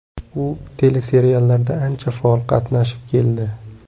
U teleseriallarda ancha faol qatnashib keldi.